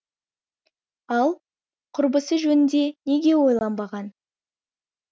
ал құрбысы жөнінде неге ойланбаған